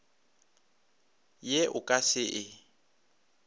ye o ka se e